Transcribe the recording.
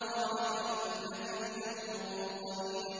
قَالَ فَإِنَّكَ مِنَ الْمُنظَرِينَ